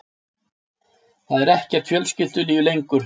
Það er ekkert fjölskyldulíf lengur.